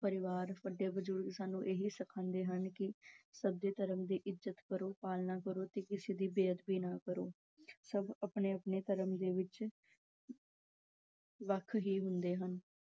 ਪਰਿਵਾਰ, ਵੱਡੇ ਬਜ਼ੁਰਗ ਸਾਨੂੰ ਇਹੀ ਸਿਖਾਉਂਦੇ ਹਨ ਕਿ ਸਭ ਦੇ ਧਰਮ ਦੀ ਇੱਜਤ ਕਰੋ, ਪਾਲਣਾ ਕਰੋ ਤੇ ਕਿਸੇ ਦੀ ਬੇਅਦਬੀ ਨਾ ਕਰੋ ਸਭ ਆਪਣੇ-ਆਪਣੇ ਧਰਮ ਦੇ ਵਿੱਚ ਵੱਖ ਹੀ ਹੁੰਦੇ ਹਨ